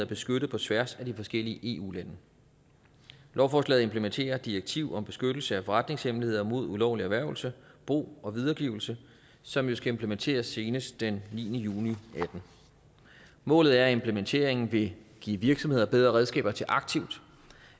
beskyttet på tværs af de forskellige eu lande lovforslaget implementerer direktiv om beskyttelse af forretningshemmeligheder mod ulovlig erhvervelse brug og videregivelse som jo skal implementeres senest den niende juni og atten målet er at implementeringen vil give virksomheder bedre redskaber til aktivt